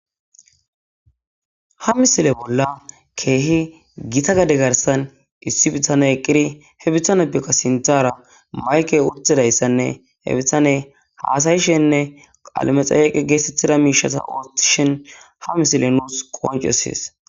ha misile bolla keehi gita gade garsan issi bitane eqqiri hebitane bikka sintara mayke wutidayssanne he bitane haasayishenne qalamexayeqe geesettida miishata oottishhin ha misile nuus qoancesees